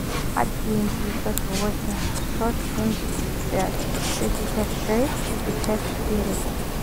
один девятьсот восемь шестьсот семьдесят пять шестьдесят шесть шестьдесят четыре